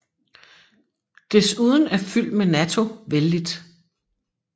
Desuden er fyld med natto vellidt